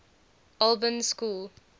albans school